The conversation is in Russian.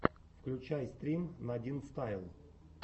включай стрим надинстайл